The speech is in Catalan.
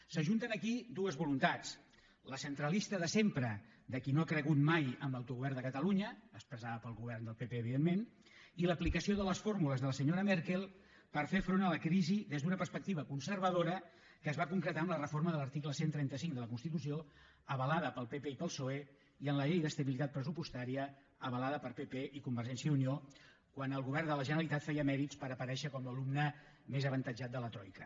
s’ajunten aquí dues voluntats la centralista de sempre de qui no ha cregut mai en l’autogovern de catalunya expressada pel govern del pp evidentment i l’aplicació de les fórmules de la senyora merkel per fer front a la crisi des d’una perspectiva conservadora que es va concretar en la reforma de l’article cent i trenta cinc de la constitució avalada pel pp i pel psoe i en la llei d’estabilitat pressupostària avalada per pp i convergència i unió quan el govern de la generalitat feia mèrits per aparèixer com l’alumne més avantatjat de la troica